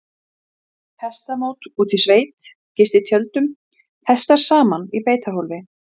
Það breytir því samt ekki að prófin mæla ekki það sem þau eiga að mæla.